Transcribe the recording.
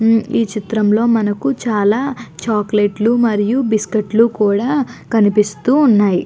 ఈ చిత్రం లో మనకు చాల చాక్లేట్ లు మనియు బిస్కిట్ లు కూడా కనిపిస్తూ ఉన్నాయి.